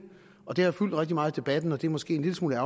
og det har fyldt rigtig meget i debatten og det er måske en lille smule